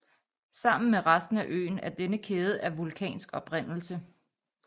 Sammen med resten af øen er denne kæde af vulkansk oprindelse